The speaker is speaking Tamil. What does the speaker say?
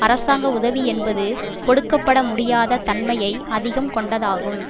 அரசாங்க உதவி என்பது கொடுக்க பட முடியாத தன்மையை அதிகம் கொண்டதாகும்